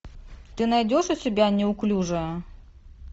ты найдешь у себя неуклюжие